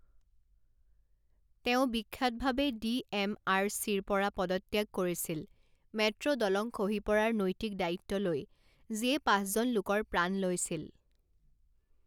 তেওঁ বিখ্যাতভাৱে D M R চিৰ পৰা পদত্যাগ কৰিছিল মেট্ৰ' দলং খহি পৰাৰ নৈতিক দায়িত্ব লৈ, যিয়ে পাঁচজন লোকৰ প্ৰাণ লৈছিল।